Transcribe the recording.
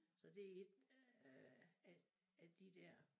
Så det et øh af af de der